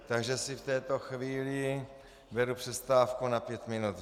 Takže si v této chvíli beru přestávku na pět minut.